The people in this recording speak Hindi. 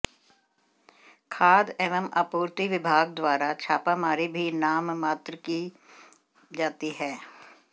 खाद्य एवं आपूर्ति विभाग द्वारा छापामारी भी नाममात्र की जाती है